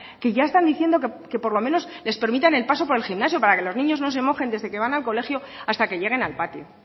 que ya están diciendo que por lo menos les permita el paso por el gimnasio para que los niños no se mojen desde que van al colegio hasta que lleguen al patio